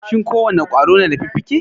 Shin ko wane ƙwaro na da fiffike?